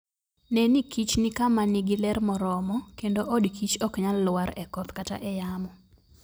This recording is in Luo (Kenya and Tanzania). Ne ni kich nikama nigi ler moromo, kendo od kich ok nyal lwar e koth kata e yamo.